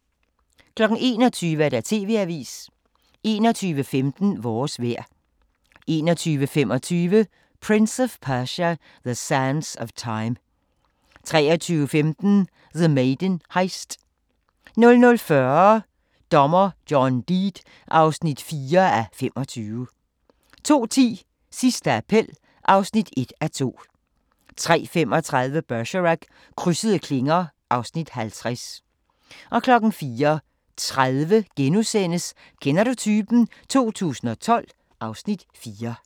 21:00: TV-avisen 21:15: Vores vejr 21:25: Prince of Persia: The Sands of Time 23:15: The Maiden Heist 00:40: Dommer John Deed (4:25) 02:10: Sidste appel (1:2) 03:35: Bergerac: Krydsede klinger (Afs. 50) 04:30: Kender du typen? 2012 (Afs. 4)*